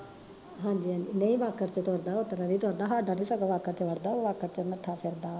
ਹਾਂਜੀ ਹਾਂਜੀ ਨਈਂ ਬਾਕਰ ਚ ਤੁਰਦਾ ਓਤਰਾਂ ਨੀ ਤੁਰਦਾ ਸਾਡਾ ਤਾਂ ਸਗੋਂ ਬਾਕਰ ਚ ਵੜਦਾ ਓ ਬਾਕਰ ਚ ਨੱਠਾ ਫਿਰਦਾ